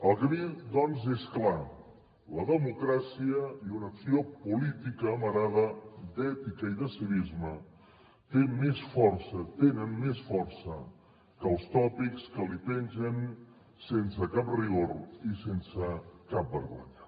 el camí doncs és clar la democràcia i una acció política amarada d’ètica i de civisme tenen més força que els tòpics que li pengen sense cap rigor i sense cap vergonya